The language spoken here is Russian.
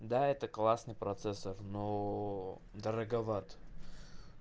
да это классный процессор но дороговат